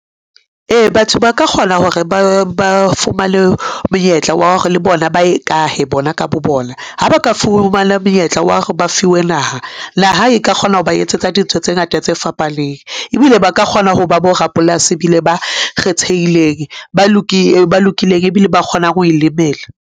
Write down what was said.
Ee, batho ba ka kgona hore ba fumane monyetla wa hore le bona ba ikahe bona ka bo bona ha ba ka fumana monyetla wa hore ba fiwe naha. Naha e ka kgona ho ba etsetsa dintho tse ngata tse fapaneng, ebile ba ka kgona hoba borapolasi bile ba kgethehileng, ba lokileng, ebile ba kgonang ho ilemela.